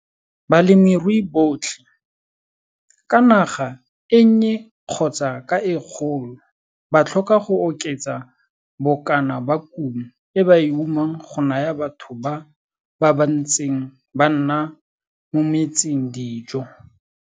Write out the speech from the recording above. Balemirui botlhe, ka naga e nnye kgotsa ka e kgolo, ba tlhoka go oketsa bokana ba kumo e ba e umang go naya batho ba, ba ba ntseng ba nna mo metseng, dijo.